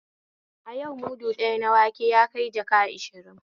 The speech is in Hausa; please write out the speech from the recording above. A yau mudu ɗaya na wanke yakai jaka ashirin